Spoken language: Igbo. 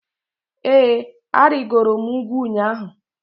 ee, arịgoro m ugwu ụnyahụ